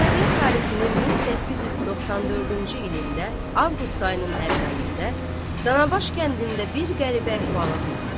Miladiyyə tarixinin 1894-cü ilində, Avqust ayının əvvəlində, Danabaş kəndində bir qəribə əhvalat olubdur.